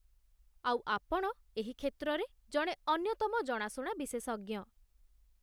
ଆଉ ଆପଣ ଏହି କ୍ଷେତ୍ରରେ ଜଣେ ଅନ୍ୟତମ ଜଣାଶୁଣା ବିଶେଷଜ୍ଞ